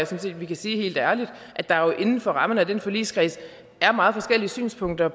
set vi kan sige helt ærligt at der jo inden for rammerne af den forligskreds er meget forskellige synspunkter